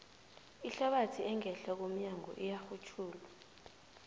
ihlabathi engehla komnyago iyarhutjhulwa